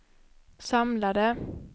samlade